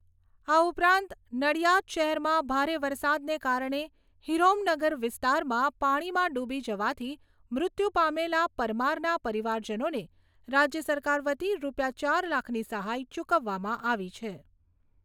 આ ઉપરાંત નિડયાદ શહેરમાં ભારે વરસાદને કારણે હિરઓમ નગર વિસ્તારમાં પાણીમાં ડૂબી જવાથી મૃત્યુ પામેલા પરમારના પરિવારજનોને રાજ્ય સરકાર વતી રૂપિયા ચાર લાખની સહાય ચૂકવવામાં આવી છે.